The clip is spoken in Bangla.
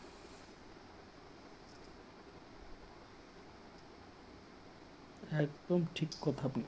একদম ঠিক কথা, আপনি